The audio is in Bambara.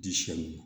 Diɲɛn